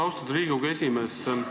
Austatud Riigikogu esimees!